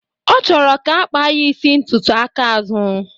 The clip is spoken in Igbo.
ọ chọrọ ga akpa ya isi ntutu aka azụ.